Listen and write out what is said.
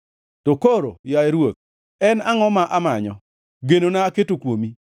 To koro, yaye Ruoth, en angʼo ma amanyo? Genona aketo kuomi.